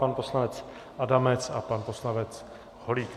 Pan poslanec Adamec a pan poslanec Holík.